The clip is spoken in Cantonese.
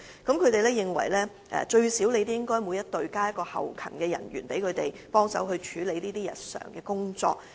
他們認為每隊最少應增加1名後勤人員，協助他們處理此類日常工作。